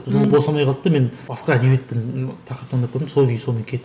ммм сол босамай қалды да мен басқа әдебиеттен тақырып таңдап көрдім сол күйі сонымен